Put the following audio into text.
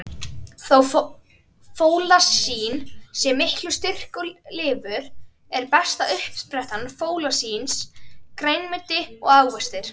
Þó fólasín sé í miklum styrk í lifur, er besta uppspretta fólasíns grænmeti og ávextir.